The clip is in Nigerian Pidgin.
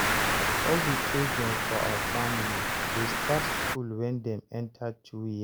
all di children for our family dey start school wen Dem enter 2 years